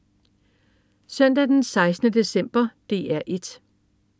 Søndag den 16. december - DR 1: